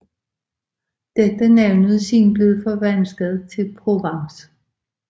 Dette navn er siden blevet forvansket til Provence